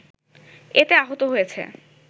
এতে আহত হয়েছে